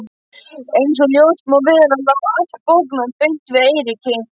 Einsog ljóst má vera lá allt bóknám beint við Eiríki.